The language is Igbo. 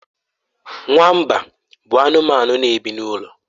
Nwamba bụ anụmanụ na-ebi n'ụlọ.